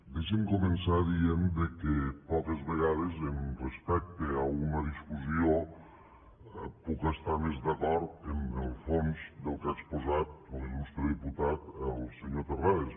deixen me començar dient que poques vegades respecte a una discussió puc estar més d’acord en el fons del que ha exposat l’il·lustre diputat el senyor terrades